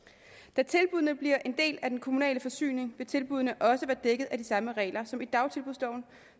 da tilbuddene bliver en del af den kommunale forsyning vil tilbuddene også være dækket af de samme regler som i dagtilbudsloven